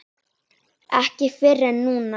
Ekki fyrr en núna.